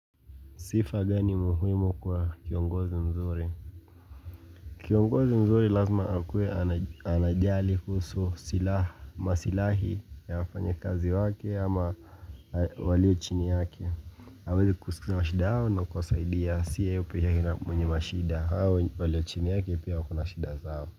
Sifa gani muhimu kwa kiongozi mzuri? Kiongozi mzuri lazima akuwe anajali kuhusu masilahi ya wafanyikazi wake ama walio chini yake. Hawezi kusikiza mashida yao na kuwasaidia siye peke yake mwenye mashida hawa walio chini yake pia wakona shida zao.